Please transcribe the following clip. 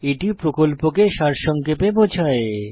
এটি প্রকল্পকে সারসংক্ষেপে বোঝায়